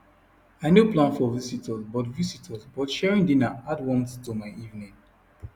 i no plan for visitors but visitors but sharing dinner add warmth to my evening